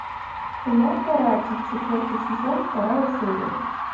кино каратель четвертый сезон вторая серия